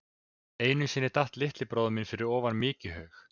Einu sinni datt litli bróðir minn ofan í mykjuhaug.